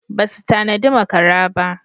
Basu tanadi makara ba.